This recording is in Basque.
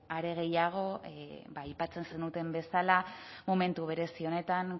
are gehiago aipatzen zenuten bezala momentu berezi honetan